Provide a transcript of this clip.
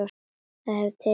Það hefur tekist hingað til.